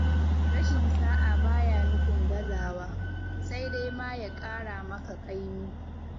Rashin sa'a ba ya nufin gazawa, sai dai ma ya ƙara maka ƙaimi.